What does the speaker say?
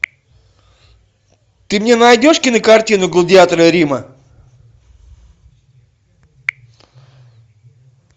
ты мне найдешь кинокартину гладиаторы рима